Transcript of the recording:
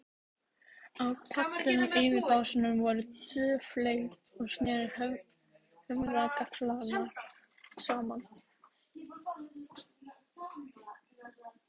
Á pallinum, yfir básunum, voru tvö flet og sneru höfðagaflar saman.